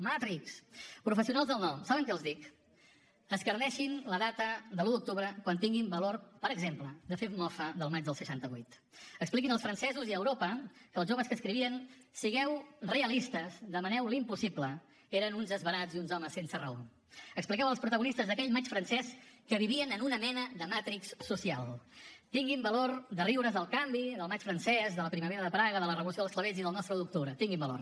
matrix professionals del no saben què els dic escarneixin la data de l’un d’octubre quan tinguin valor per exemple de fer mofa del maig del seixanta vuit expliquin als francesos i a europa que els joves que escrivien sigueu realistes demaneu l’impossible eren uns esverats i uns homes sense raó expliqueu als protagonistes d’aquell maig francès que vivien en una mena de matrix social tinguin valor de riure’s del canvi del maig francès de la primavera de praga de la revolució dels clavells i del nostre un d’octubre tinguin valor